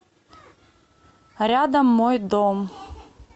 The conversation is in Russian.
рядом мой дом